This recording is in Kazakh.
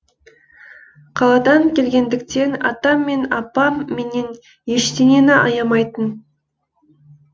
қаладан келгендіктен атам мен апам менен ештеңені аямайтын